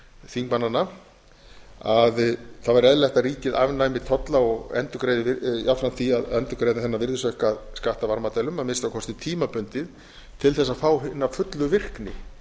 þingmannanna að það væri eðlilegt að ríkið afnæmi tolla og endurgreiði jafnframt því að endurgreiða þennan virðisaukaskatt af varmadælum að minnsta kosti tímabundið til þess að fá hina fullu virkni